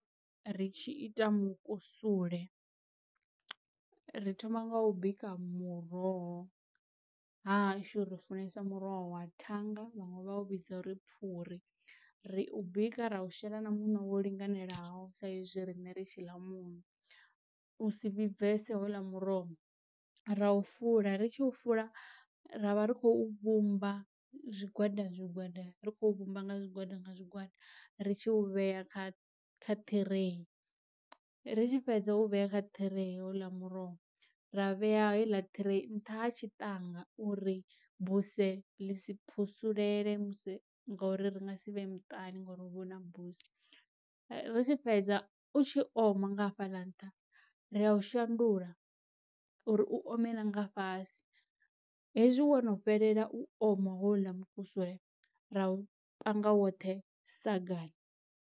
Ri tshi ita mukusule ri thoma nga u bika muroho, hashu ri funesa muroho wa thanga vhaṅwe vha u vhidza uri phuri ri u bika ra u shela na muṋo wo linganelaho sa izwi rine ri tshi ḽa muṋo u si vhibvese ho u ḽa muroho, ra u fula, ri tshi u fula ra vha ri khou vhumba zwigwada zwigwada ri khou vhumba nga zwigwada nga zwigwada ri tshi u vhea kha ṱhirei. Ri tshi fhedza u vhea kha ṱhirei ho u ḽa muroho ra vhea he iḽa ṱhirei nṱha ha tshi ṱangana uri buse ḽi si phusulele musi ngauri ri nga si vhee muṱani ngori hu vha hu na buse, ri tshi fhedza u tshi oma nga hafhaḽa nṱha ri a u shandula uri u ome na nga fhasi, hezwi wono fhelela u oma houḽa mukusule ra u panga woṱhe sagani.